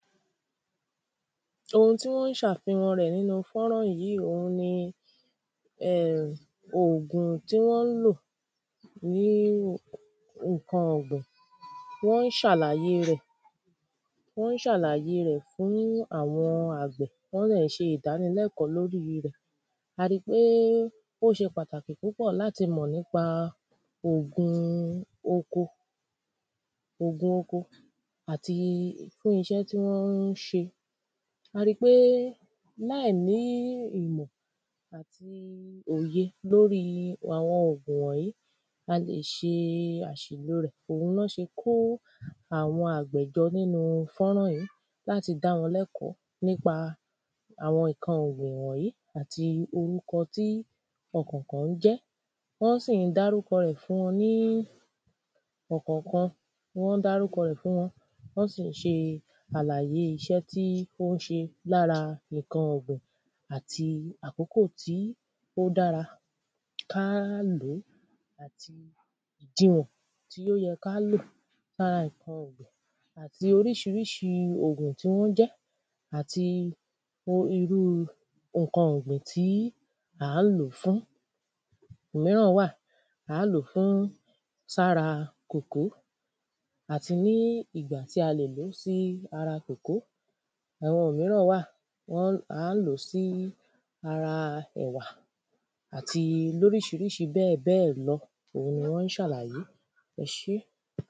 Ohun tí wọ́ ń ṣàfihan rẹ̀ nínú fọ́nrán yí òhun ni um ògùn tí wọ́n ń lò ní ǹkan ọ̀gbìn. Wọ́n ń ṣàlàyé rẹ̀. Wọ́n ń ṣàlàyé rẹ̀ fún àwọn àgbẹ̀. Wọ́n dẹ̀ ń ṣe ìdánilẹ́kọ́ lórí rẹ̀. A ri pé ó ṣe pàtàkì púpọ̀ láti mọ̀ nípa ògùn oko. Ògun oko àti iṣẹ́ tí wọ́n ń ṣe. A ri pé láìní ìmọ̀ àti òye lórí àwọn ògùn wọ̀nyí a lè ṣe àsìlò rẹ̀. Òhun ná se kó àwọn àgbẹ̀ jọ nínú fọ́rán yí. Láti dá wọn lẹ́kó nípa àwọn ǹkan ògùn wọ̀nyí àti orúkọ tí ọ̀kọ̀kán ń jẹ́. Wọ́n sì ń dárúkọ rẹ̀ fún wọn ní ọ̀kọ̀kan. Wọ́n ń dárúkọ rẹ̀ fún wọn, wọ́n sì ń ṣe àlàyé iṣẹ́ tó ń ṣe lára ǹkan ọ̀gbìn. Àti àkókò tí ó dára kí á ló. Àti òdiwọ̀n tí ó yẹ kí á lò sára nǹkan ọ̀gbìn àti oríṣiríṣi ògùn tí wọ́n jẹ́ àti o irúu nkan ọ̀gbìn tí à ń ló fún. Òmíràn wà à ń ló fún sára kòkó àti ní ìgbà tí a le ló sí ara kòkó. Àwọn òmíràn wà wọ́n à ń ló sí ara ẹ̀wà. Àti lóríṣiríṣi bẹ́ẹ̀bẹ́ẹ̀ lọ òhun ni wọ́n ń ṣàlàyé. Ẹ seun.